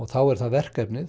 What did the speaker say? þá er það verkefni